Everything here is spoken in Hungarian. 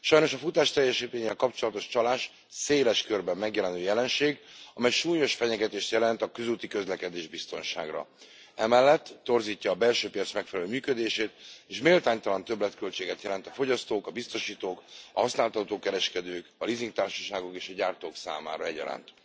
Sajnos a futásteljesítménnyel kapcsolatos csalás széles körben megjelenő jelenség, amely súlyos fenyegetést jelent a közúti közlekedésbiztonságra. Emellett torzítja a belső piac megfelelő működését és méltánytalan többletköltséget jelent a fogyasztók, a biztosítók, a használtautó kereskedők, a lízingtársaságok és a gyártók számára egyaránt.